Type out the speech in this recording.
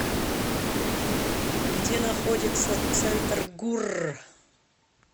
где находится центргурр